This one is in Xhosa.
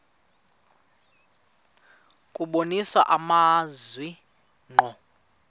kubonisa amazwi ngqo